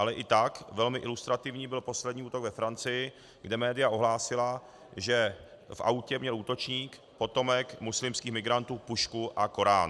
Ale i tak velmi ilustrativní byl poslední útok ve Francii, kde média ohlásila, že v autě měl útočník, potomek muslimských migrantů, pušku a Korán.